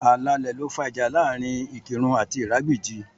Ààlà ilẹ̀ ló fà ìjà láàrin Ikirun àti Iragbiji